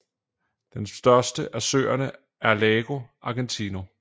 Den største af søerne er Lago Argentino